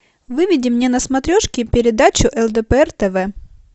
выведи мне на смотрешке передачу лдпр тв